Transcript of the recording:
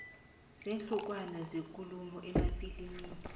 weenhlokwana zekulumo emafilimini